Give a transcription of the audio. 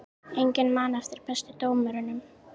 Enginn man eftir bestu dómurunum